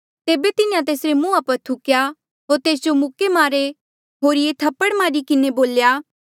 तेबे तिन्हें तेसरे मुंहा पर थुक्या होर तेस जो मुक्के मारे होरिये थप्पड़ मारी किन्हें बोल्या